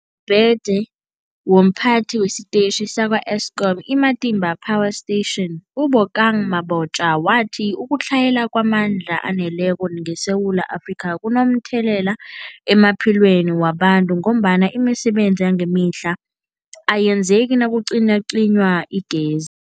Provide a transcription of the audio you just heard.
phethe womPhathi wesiTetjhi sakwa-Eskom i-Matimba Power Station u-Obakeng Mabotja wathi ukutlhayela kwamandla aneleko ngeSewula Afrika kunomthelela emaphilweni wabantu ngombana imisebenzi yangemihla ayenzeki nakucinywacinywa igez